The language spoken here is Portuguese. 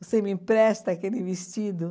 Você me empresta aquele vestido?